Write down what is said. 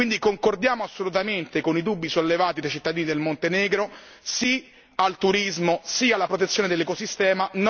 Quindi concordiamo assolutamente con i dubbi sollevati dai cittadini del Montenegro sì al turismo, sì alla protezione dell'ecosistema